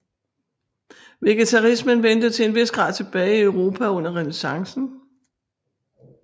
Vegetarismen vendte til en vis grad tilbage i Europa under Renæssancen